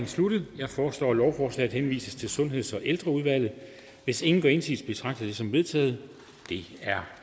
sluttet jeg foreslår at lovforslaget henvises til sundheds og ældreudvalget hvis ingen gør indsigelse betragter jeg det som vedtaget det er